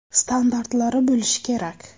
Standartlari bo‘lishi kerak.